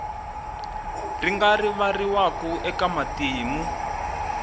ri nga rivariwi eka matimu